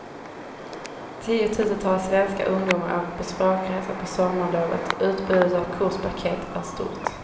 Tiotusentals svenska ungdomar åker på språkresa på sommarlovet och utbudet av kurspaket är stort.